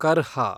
ಕರ್ಹಾ